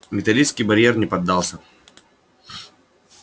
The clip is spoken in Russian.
металлический барьер не поддался